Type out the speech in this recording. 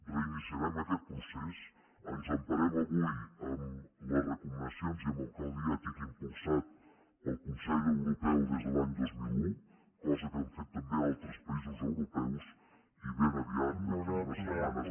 reiniciarem aquest procés ens emparem avui en les recomanacions i en el codi ètic impulsat pel consell europeu des de l’any dos mil un cosa que han fet també altres països europeus i ben aviat d’aquí a unes setmanes